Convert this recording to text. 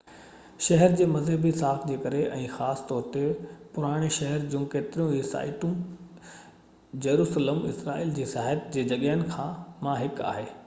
شهر جي مذهبي ساک جي ڪري ۽ خاص طور تي پراڻي شهر جون ڪيتريون ئي سائيٽون جيروسلم اسرائيل جي سياحت جي جڳهين مان هڪ آهي